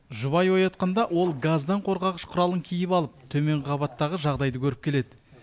жұбайы оятқанда ол газдан қорғағыш құралын киіп алып төменгі қабаттағы жағдайды көріп келеді